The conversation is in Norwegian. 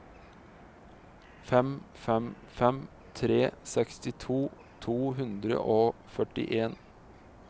fem fem fem tre sekstito to hundre og førtien